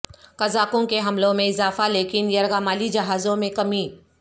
قزاقوں کے حملوں میں اضافہ لیکن یرغمالی جہازوں میں کمی